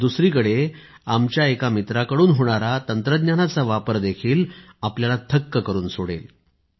तर दुसरीकडे आमच्या एका मित्राकडून होणारा तंत्रज्ञानाचा वापरही आपल्याला थक्क करुन सोडेल